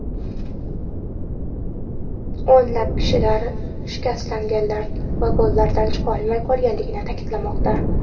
O‘nlab kishilar shikastlangan vagonlardan chiqolmay qolganligi ta’kidlanmoqda.